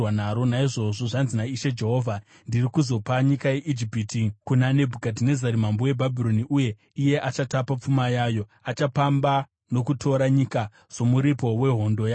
Naizvozvo zvanzi naIshe Jehovha: Ndiri kuzopa nyika yeIjipiti kuna Nebhukadhinezari mambo weBhabhironi, uye iye achatapa pfuma yayo. Achapamba nokutora nyika somuripo wehondo yake.